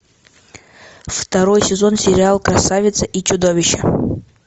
второй сезон сериал красавица и чудовище